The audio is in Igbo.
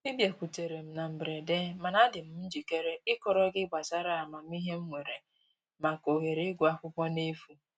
Ị bịakutere m na mberede mana adị m njikere ịkọrọ gị gbasara amamihe m nwere maka ohere ịgụ akwụkwọ n'efu